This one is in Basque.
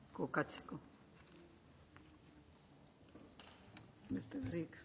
kokatzeko besterik